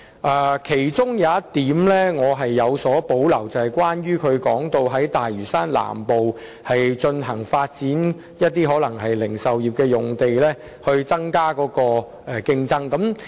對於其中一點，我是有所保留的，關乎他提到在大嶼山南部發展零售業的用地，以增加競爭。